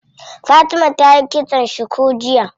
Fatima tayi kitson cuku jiya.